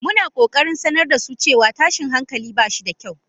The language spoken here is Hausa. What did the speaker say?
muna kokarin sanar da su cewa tashin hankali ba shi da kyau.